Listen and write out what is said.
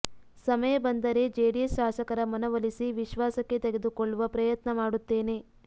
ಸಮಯ ಬಂದರೆ ಜೆಡಿಎಸ್ ಶಾಸಕರ ಮನವೊಲಿಸಿ ವಿಶ್ವಾಸಕ್ಕೆ ತೆಗೆದುಕೊಳ್ಳುವ ಪ್ರಯತ್ನ ಮಾಡುತ್ತೇನೆ